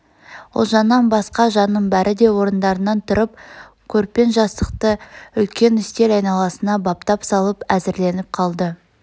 ұлжаннан басқа жанның бәр де орындарынан тұрып көрпен жастықты үлкен үстел айналасына баптап салып әзірленіп қалды